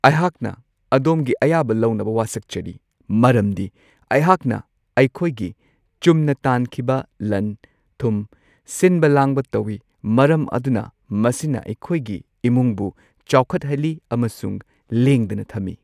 ꯑꯩꯍꯥꯛꯅ ꯑꯗꯣꯝꯒꯤ ꯑꯌꯥꯕ ꯂꯧꯅꯕ ꯋꯥꯁꯛꯆꯔꯤ, ꯃꯔꯝꯗꯤ ꯑꯩꯍꯥꯛꯅ ꯑꯩꯈꯣꯏꯒꯤ, ꯆꯨꯝꯅ ꯇꯥꯟꯈꯤꯕ, ꯂꯟ ꯊꯨꯝ ꯁꯤꯟꯕ ꯂꯥꯡꯕ ꯇꯧꯢ , ꯃꯔꯝ ꯑꯗꯨꯅ ꯃꯁꯤꯅ ꯑꯩꯈꯣꯏꯒꯤ ꯏꯃꯨꯡꯕꯨ ꯆꯥꯎꯈꯠꯍꯜꯂꯤ ꯑꯃꯁꯨꯡ ꯂꯦꯡꯗꯅ ꯊꯝꯏ꯫